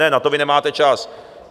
Ne, na to vy nemáte čas.